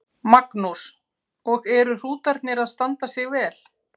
Magnús: Og eru hrútarnir að standa sig vel?